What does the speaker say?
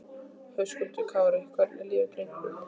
Höskuldur Kári: Hvernig líður drengnum?